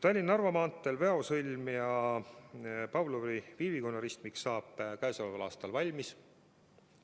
Tallinna–Narva maanteel Väo sõlm ja Pavlovi-Viivikonna ristmik saab käesoleval aastal valmis.